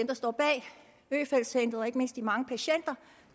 der står bag øfeldt centrene ikke mindst de mange patienter